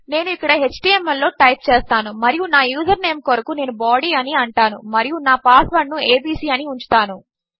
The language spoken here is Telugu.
నేనుఇక్కడ ఎచ్టీఎంఎల్ లోటైప్చేస్తానుమరియునా యూజర్నేమ్ కొరకునేను బాడీ అనిఅంటానుమరియునాపాస్వర్డ్ను ఏబీసీ అనిఉంచుతాను